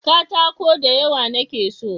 katako da yawa na ke so